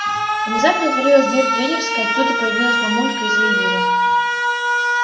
внезапно отворилась дверь тренерской оттуда появилась мамулька и заявила